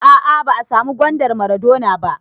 A'a ba a samu gwandar maradona ba